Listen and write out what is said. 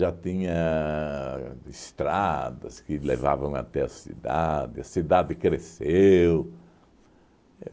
Já tinha estradas que levavam até a cidade, a cidade cresceu.